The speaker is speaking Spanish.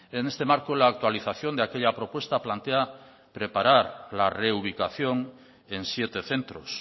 en este marco la actualización de aquella propuesta plantea preparar la reubicación en siete centros